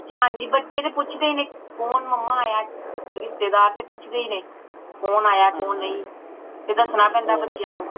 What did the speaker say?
ਹਾਂਜੀ ਬੱਚੇ ਤੇ ਪੁੱਛਦੇ ਹੀ ਨੇ ਕੌਣ ਮੰਮਾ ਆਯਾ ਰਿਸ਼ਤੇਦਾਰ ਤੇ ਪੁੱਛਦੇ ਹੀ ਨੇ ਕੌਣ ਆਯਾ ਕੌਣ ਨਹੀਂ ਤੇ ਦਸਣਾ ਪੈਂਦਾ ਬੱਚਿਆਂ ਨੂੰ